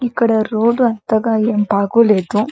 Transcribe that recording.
ఇక్కడ రోడ్డు ఏం బాగు లేదు.